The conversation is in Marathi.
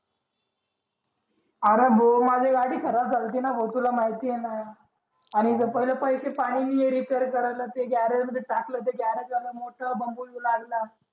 आरे भो माजी गाडी खराब जालतीना भाऊ तुला माहिते ना आणि इथे पहिले पैसे पाहिजे repair करायला ते garage मध्ये टाकलं garage वाला मोठा लागला